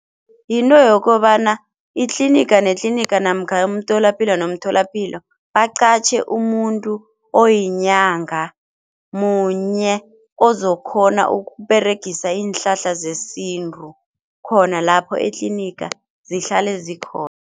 Yinto yokobana itliniga netliniga namkha umtholapilo nomtholapilo baqatjhe umuntu oyinyanga munye ozokhona ukUberegisa iinhlahla zesintu khona lapho etliniga zihlale zikhona.